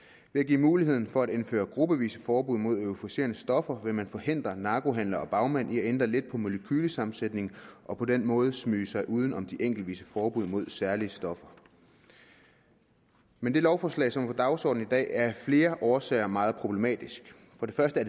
at give mulighed for at indføre gruppevise forbud mod euforiserende stoffer vil man forhindre narkohandlere og bagmænd i at ændre lidt på molekylesammensætningen og på den måde smyge sig uden om de enkeltvise forbud mod særlige stoffer men det lovforslag som er på dagsordenen i dag er af flere årsager meget problematisk for det første